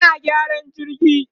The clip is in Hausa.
ana gyaran jirgin